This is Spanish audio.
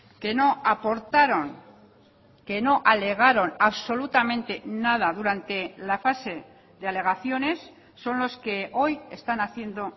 que no aportaron que no alegaron absolutamente nada durante la fase de alegaciones son los que hoy están haciendo